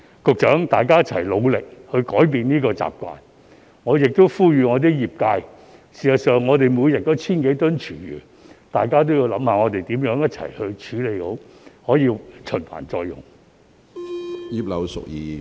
局長，大家一起努力改變這些習慣，我亦呼籲我的業界——事實上，我們每天都有 1,000 多公噸廚餘——大家也應想想如何一起處理好，令這些廚餘得以循環再用。